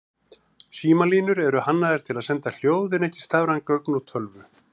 Símalínur eru hannaðar til að senda hljóð en ekki stafræn gögn úr tölvu.